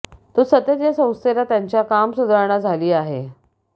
तो सतत या संस्थेला त्यांच्या काम सुधारणा झाली आहे